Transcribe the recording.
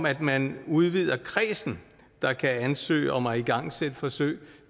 at man udvider kredsen der kan ansøge om at igangsætte forsøg